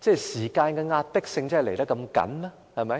時間上真的如此緊迫嗎？